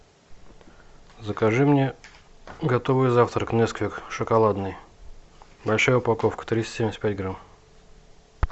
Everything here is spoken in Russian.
закажи мне готовый завтрак несквик шоколадный большая упаковка триста семьдесят пять грамм